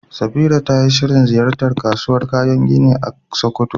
Safira tayi shirin ziyartar kasuwar kayan gini a Sokoto.